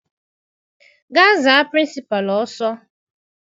Gaa za Pịrịnsịpalụ ọsọ!